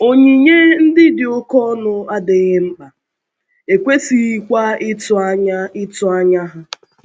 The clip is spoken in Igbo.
Onyinye ndị dị oké ọnụ adịghị mkpa, e kwesịghịkwa ịtụ anya ịtụ anya ha.